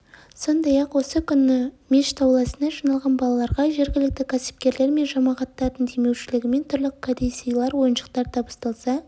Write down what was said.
сондай-ақ осы күні мешіт ауласына жиналған балаларға жергілікті кәсіпкерлер мен жамағаттардың демеушілгімен түрлі кәдесыйлар ойыншықтар табысталса